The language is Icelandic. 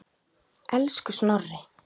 Elsku Snorri.